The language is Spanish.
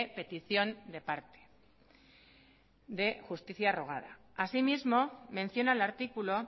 petición de parte de justicia rogada asimismo menciona el artículo